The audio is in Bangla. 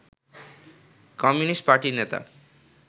কমিউনিস্ট পার্টির নেতা